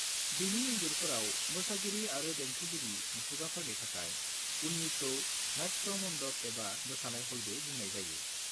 बिनि इन्जुरफोराव मोसागिरि आरो देंखोगिरि मुसुखाफोरनि थाखाय उननिखौ नाट्य मण्डप एबा मोसानाय ह'लबो बुंनाय जायो।